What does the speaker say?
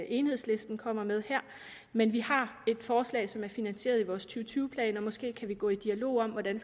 enhedslisten kommer med her men vi har et forslag som er finansieret i vores og tyve plan og måske kan vi gå i dialog om hvordan